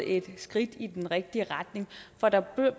et skridt i den rigtige retning for der